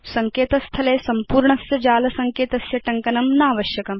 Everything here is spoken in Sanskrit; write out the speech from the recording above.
सङ्केत स्थले सम्पूर्णस्य जाल सङ्केतस्य टङ्कनं नावश्यकम्